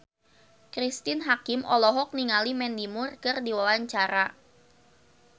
Cristine Hakim olohok ningali Mandy Moore keur diwawancara